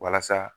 Walasa